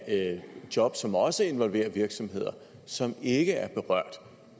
af job som også involverer virksomheder som ikke er berørt